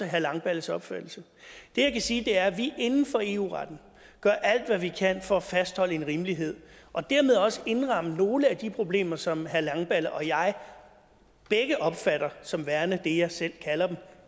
herre langballes opfattelse det jeg kan sige er at vi inden for eu retten gør alt hvad vi kan for at fastholde en rimelighed og dermed også indramme nogle af de problemer som herre langballe og jeg begge opfatter som værende det jeg selv kalder dem